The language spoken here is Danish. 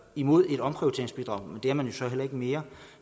imod et omprioriteringsbidrag det er man så heller ikke mere